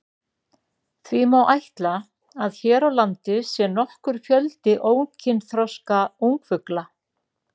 Því má ætla að hér á landi sé nokkur fjöldi ókynþroska ungfugla.